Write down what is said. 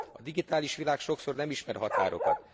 A digitális világ sokszor nem ismer határokat.